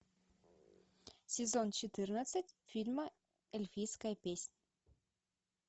сезон четырнадцать фильма эльфийская песня